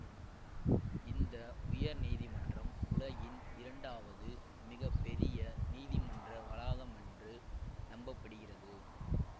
இந்த உயர்நீதிமன்றம் உலகின் இரண்டாவது மிக பெரிய நீதிமன்ற வளாகமென்று நம்ப படுகிறது